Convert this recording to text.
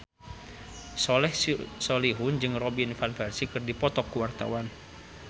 Soleh Solihun jeung Robin Van Persie keur dipoto ku wartawan